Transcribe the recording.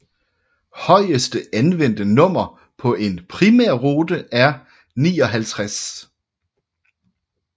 Højeste anvendte nummer på en primærrute er 59